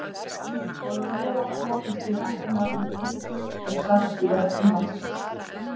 Þá er mjög oft notast við ættarnafnið eitt og sagt í verkum Laxness.